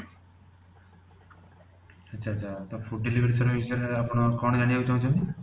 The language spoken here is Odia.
ଆଛା ଆଛା ଅବ ତfood delivery ବିଷୟରେ ଆପଣ କଣ ଜାଣିବାକୁ ଚାହୁଁଛନ୍ତି?